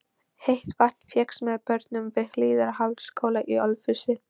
Heitt vatn fékkst með borun við Hlíðardalsskóla í Ölfusi.